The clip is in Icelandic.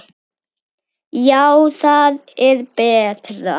Já, það er betra.